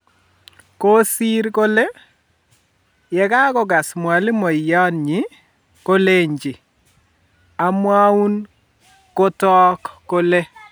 Koosir kole, yekakogaas mwalimuyaat nyi koleenji: "..amwaaun kotook kole